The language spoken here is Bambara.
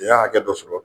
N y'a hakɛ dɔ sɔrɔ